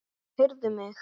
Heyrðu mig.